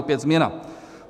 Opět změna.